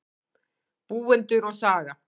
Búendur og saga.